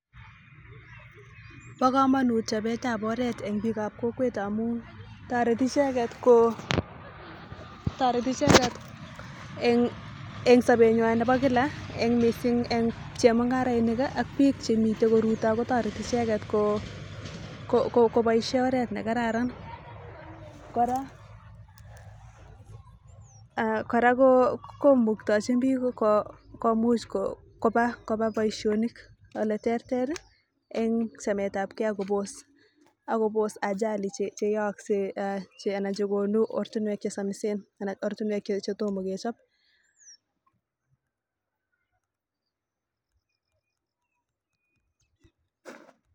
Ba kamanut chabet ab oret en bik ab kokwet amun tareti icheket ko en sabenywan Nebo kila en mising en chemungarainik bik Chemiten okot Ruto kotareti icheket kobaishen oret nekararan kora komuche komuktachin bik komuch Koba Baishonik ole terter en chamet ab gei akobos Ajali cheyakse en anan chekonu oratinwek chesamisen anan ko oratinwek chetoma kechob